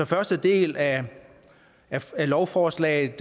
første del af lovforslaget